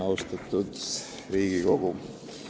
Austatud Riigikogu!